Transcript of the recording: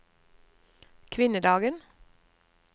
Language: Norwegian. kvinnedagen